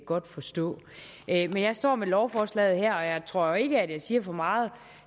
godt forstå men jeg står med lovforslaget her og jeg tror ikke at jeg siger for meget